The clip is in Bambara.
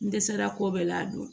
N dɛsɛra ko bɛɛ la dun